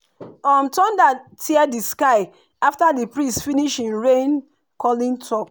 um thunder tear di sky after di priest finish him rain-calling talk.